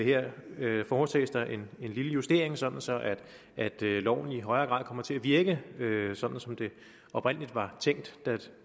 her foretages der en lille justering sådan sådan at loven i højere grad kommer til at virke sådan som den oprindelig var tænkt